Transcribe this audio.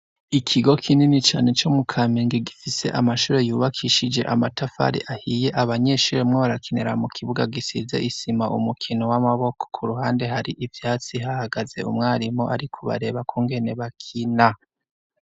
Ikigo kinini cane co mukamenge gifise amashure yubakishije amatafari ahiye abanyeshuri barimwo barakinra mukibuga gisize isima umukino w'amaboko. K'uruhande har'ivyatsi hahagaze umwarimu arikubareba kungene bakina.